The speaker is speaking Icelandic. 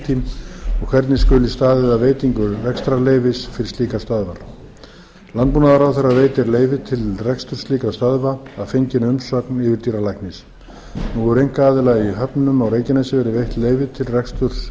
og hvernig skuli staðið að veitingu rekstrarleyfis fyrir slíkar stöðvar landbúnaðarráðherra veitir leyfi slíkra stöðva að fenginni umsögn yfirdýralæknis nú hefur einkaaðila í höfnum á reykjanesi verið veitt leyfi til